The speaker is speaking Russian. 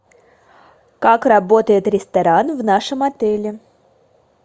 как работает ресторан в нашем отеле